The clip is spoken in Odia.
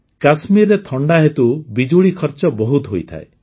କାଶ୍ମୀରରେ ଥଣ୍ଡା ହେତୁ ବିଜୁଳି ଖର୍ଚ ବହୁତ ହୋଇଥାଏ